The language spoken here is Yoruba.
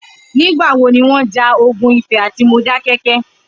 Nigbà wó niwọn jà ógùn Ifẹ àtí Módákẹkẹ̀?